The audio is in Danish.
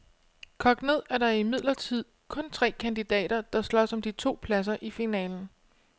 Kogt ned er der imidlertid kun tre kandidater, der slås om de to pladser i finalen.